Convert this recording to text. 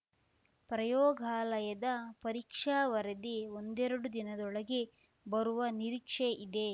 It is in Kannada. ಪ್ರಯೋಗಾಲಯದ ಪರೀಕ್ಷಾ ವರದಿ ಒಂದೆರಡು ದಿನದೊಳಗೆ ಬರುವ ನಿರೀಕ್ಷೆ ಇದೆ